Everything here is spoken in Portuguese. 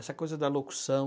Essa coisa da locução.